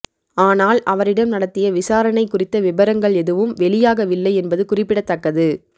ஆனால் அவரிடம் நடத்திய விசாரணை குறித்த விபரங்கள் எதுவும் வெளியாகவில்லை என்பது குறிப்பிடத்தக்கது